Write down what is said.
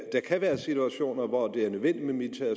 der kan være situationer hvor det er nødvendigt med militære